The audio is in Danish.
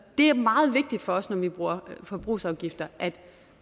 er meget vigtigt for os når vi bruger forbrugsafgifter at